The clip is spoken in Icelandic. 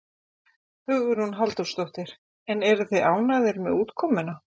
Hugrún Halldórsdóttir: En eruð þið ánægðir með útkomuna?